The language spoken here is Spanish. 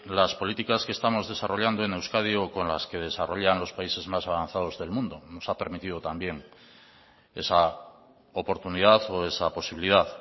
las políticas que estamos desarrollando en euskadi o con las que desarrollan los países más avanzados del mundo nos ha permitido también esa oportunidad o esa posibilidad